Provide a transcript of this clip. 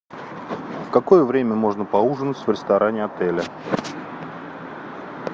в какое время можно поужинать в ресторане отеля